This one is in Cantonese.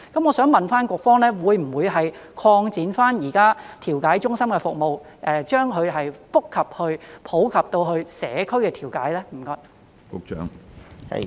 我想問局方，會不會擴展現在調解中心的服務，以覆蓋社區的調解呢？